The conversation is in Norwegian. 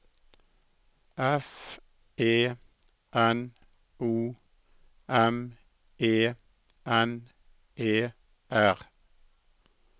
F E N O M E N E R